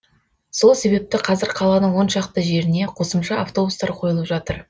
сол себепті қазір қаланың он шақты жеріне қосымша автобустар қойылып жатыр